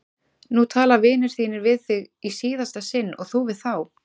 Nú tala vinir þínir við þig í síðasta sinn og þú við þá!